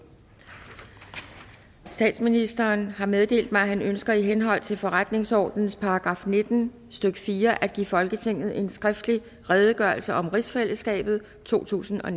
statsministeren har meddelt mig at han ønsker i henhold til forretningsordenens § nitten stykke fire at give folketinget en skriftlig redegørelse om rigsfællesskabet totusinde og